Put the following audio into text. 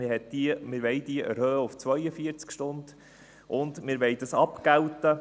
Wir wollen sie auf 42 Stunden erhöhen, und wir wollen dies unter anderem mit 37,5 Franken abgelten.